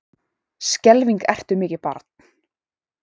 Skelfing ertu mikið barn.